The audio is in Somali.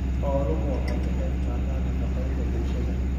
Xooluhu waxay ka qayb qaataan nafaqaynta bulshada.